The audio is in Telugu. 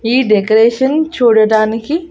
ఈ డెకరేషన్ చూడడానికి--